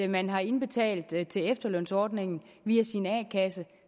man har indbetalt til til efterlønsordningen via sin a kasse